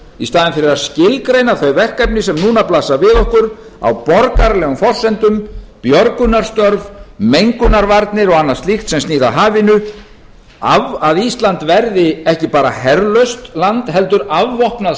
í staðinn fyrir að skilgreina þau verkefni sem núna blasa við okkur á borgaralegum forsendum björgunarstörf mengunarvarnir og annað slíkt sem snýr að hafinu að ísland verði ekki bara herlaust land heldur afvopnað